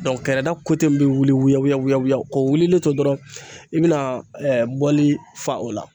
kɛrɛda min bɛ wuli wuyawuyawuya k'o wulilen to dɔrɔn i bɛna bɔli fa o la